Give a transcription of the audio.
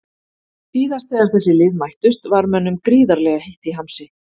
Síðast þegar þessi lið mættust var mönnum gríðarlega heitt í hamsi.